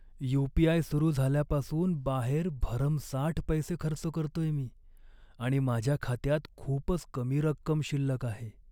You. P. I. सुरू झाल्यापासून बाहेर भरमसाठ पैसे खर्च करतोय मी आणि माझ्या खात्यात खूपच कमी रक्कम शिल्लक आहे.